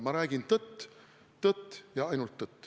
Ma räägin tõtt, tõtt ja ainult tõtt.